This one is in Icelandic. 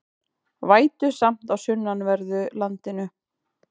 Vætusamt á sunnanverðu landinu